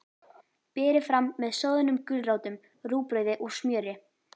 Berið fram með soðnum gulrótum, rúgbrauði og smjöri.